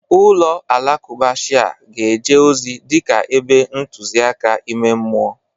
Ụlọ alakụba Shia ga-eje ozi dịka ebe ntụzịaka ime mmụọ.